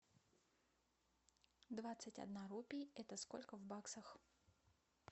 двадцать одна рупия это сколько в баксах